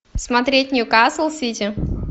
смотреть ньюкасл сити